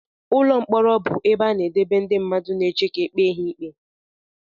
Ụlọ mkpọrọ bụ ebe a na-edebe ndị mmadụ na-eche ka ekpe ha ikpe.